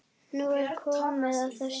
Nú er komið að þessu.